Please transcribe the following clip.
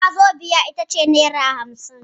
Wazobiya ita ce nera hamsin.